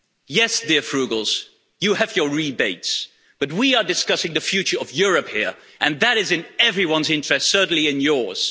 Yes dear Frugals, you have your rebates, but we are discussing the future of Europe here and that is in everyone's interest, certainly in yours.